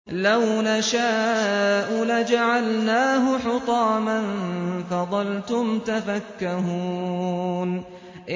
لَوْ نَشَاءُ لَجَعَلْنَاهُ حُطَامًا فَظَلْتُمْ تَفَكَّهُونَ